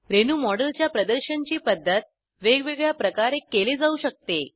रेणूमॉडेलच्या प्रदर्शनची पद्धत वेगवेगळ्या प्रकारे केले जाऊ शकते